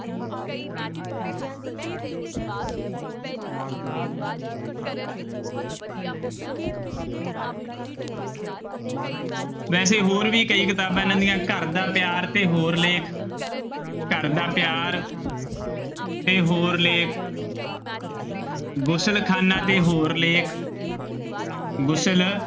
ਵੈਸੇ ਹੋਰ ਵੀ ਕਈ ਕਿਤਾਬਾਂ ਨਵੀਆਂ ਘਰ ਦਾ ਪਿਆਰ ਤੇ ਹੋਰ ਲੇਖ ਘਰਦਾ ਪਿਆਰ ਤੇ ਹੋਰ ਲੇਖ ਗੁਸਲਖਾਨਾ ਤੇ ਹੋਰ ਲੇਖ ਗੁਸਲ